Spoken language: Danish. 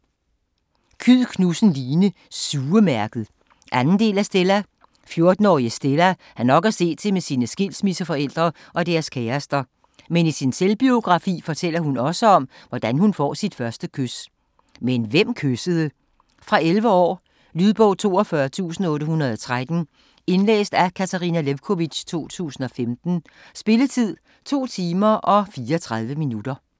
Kyed Knudsen, Line: Sugemærket 2. del af Stella. 14-årige Stella har nok at se til med sine skilsmisseforældre og deres kærester, men i sin selvbiografi fortæller hun også om, hvordan hun får sit første kys. Men hvem kyssede? Fra 11 år. Lydbog 42813 Indlæst af Katarina Lewkovitch, 2015. Spilletid: 2 timer, 34 minutter.